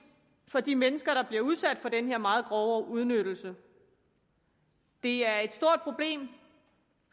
for de mennesker der bliver udsat for den her meget grove udnyttelse det er et stort problem